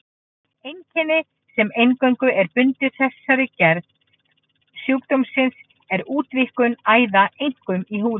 Einkenni sem eingöngu er bundið þessari gerð sjúkdómsins er útvíkkun æða, einkum í húðinni.